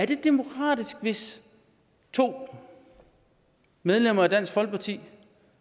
det er demokratisk hvis to medlemmer af dansk folkeparti